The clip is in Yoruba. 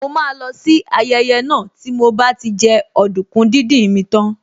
Mo máa má lọ sí ayẹyẹ náà tí mo bá ti jẹ ọdùkún díndín mi tán